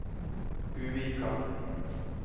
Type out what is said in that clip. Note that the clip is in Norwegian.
Buvika